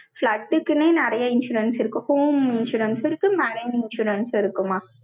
flood க்குன்னே, நிறைய insurance இருக்கு. home insurance இருக்கு. management insurance இருக்குமா?